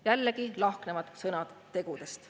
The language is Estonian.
Jällegi lahknevad sõnad tegudest.